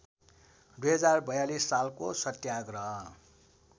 २०४२ सालको सत्याग्रह